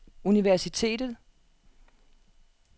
universitetet